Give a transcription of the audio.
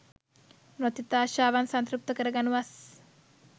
නොතිත් ආශාවන් සංතෘප්ත කර ගනු වස්